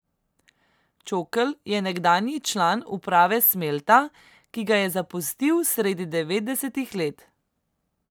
Čokl je nekdanji član uprave Smelta, ki ga je zapustil sredi devetdesetih let.